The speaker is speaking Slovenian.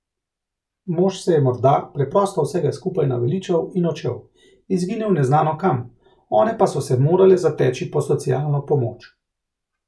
Mož se je morda preprosto vsega skupaj naveličal in odšel, izginil neznano kam, one pa so se morale zateči po socialno pomoč.